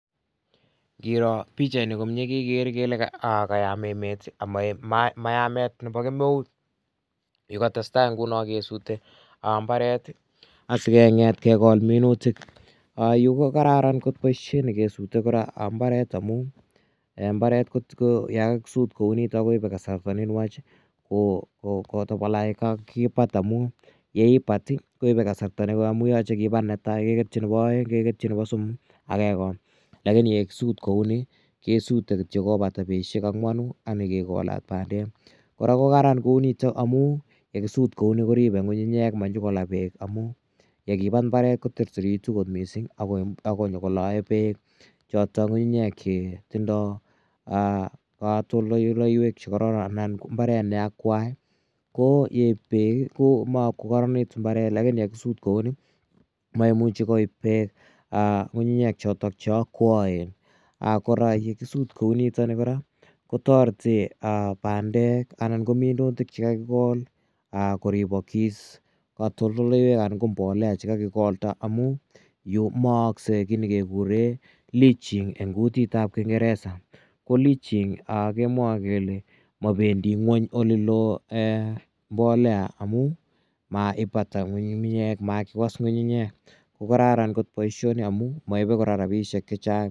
Ngiro pichaini komye kekere kele kayam emet ako ma yamet nepo kemeut. Kikotestai nguno kesute mbaret asikong'et kekol minutik. Yu ko kararan kot poishet nekesute mbaret amu mbaret ko ya kakisut kou nitok ko ipe kasarta ne nwach kotapala ye kakipat amu ye ipat koipe kasarta ne koi amu yache kipat ne tai ke ketchi nepo aeng', keketchi nepo somok ak kekol lakini ye kisut kou ni kesute kityo kopata petushek ang'wanu ak nye kekolat pandek. Kora ko kararan kou nitok amu ye kisut kou ni koripe ng'ung'unyek ma nyuko la peek amu ye kipat mbaret koterteritu kot missing' ak nyuko lae peek chotok ng'ung'unyek che tindai katoltoleiwek che kararan anan ko mbaret ne akwai. Ko yeip peek ko mako kararan mbaret lakini ye kisut kou ni maimuchi koip peek ng'ung'unyek chotok che akwaen. Kora ye kisut kou nitani kora ko tareti pandek anan ko minutik che kakikol kiripagis, Katoltoleiwek anan ko mbolea chr kakikolda amu yu ko maakse ki ne kekure leaching eng' kutit ap kingeresa. Ko leaching kemwae kele mapendi ng'uny ole loo mbolea amu maipatal ng'ung'unyek, makiwas ng'ung'unyek komye. Ko kararan kot poishoni amu maipe kora rapishek che chang'.